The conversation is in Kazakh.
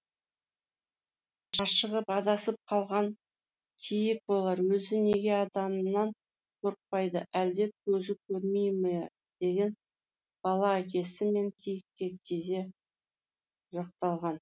ашығып адасып қалған киік болар өзі неге адамнан қорықпайды әлде көзі көрмей ме деген бала әкесі мен киікке кезек жақтаған